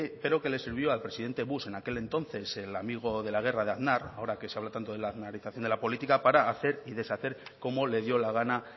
pero que le sirvió al presidente bush en aquel entonces el amigo de la guerra de aznar ahora que se habla tanto de la aznarización de la política para hacer y deshacer como le dio la gana